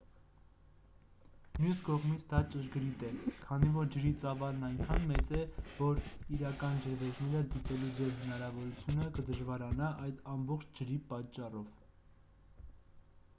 մյուս կողմից դա ճշգրիտ է քանի որ ջրի ծավալն այնքան մեծ է որ իրական ջրվեժները դիտելու ձեր հնարավորությունը կդժվարանա այդ ամբողջ ջրի պատճառով